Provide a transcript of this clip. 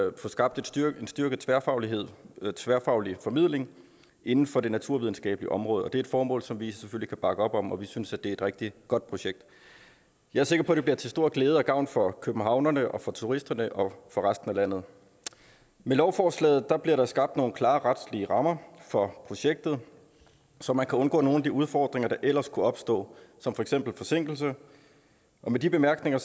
at få skabt en styrket tværfaglighed tværfaglig formidling inden for det naturvidenskabelige område og det er et formål som vi jo selvfølgelig kan bakke op om og vi synes at det er et rigtig godt projekt jeg er sikker på at det bliver til stor glæde og gavn for københavnerne og for turisterne og for resten af landet med lovforslaget bliver der skabt nogle klare retslige rammer for projektet så man kan undgå nogle af de udfordringer der ellers kunne opstå som for eksempel forsinkelse og med de bemærkninger